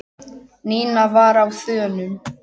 Nína var á þönum.